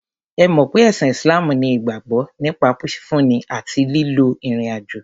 Ẹ mọ̀ pé ẹ̀sìn Islam ní ìgbàgbọ́ nípa fífúnni àti lílọ ìrìn àjò.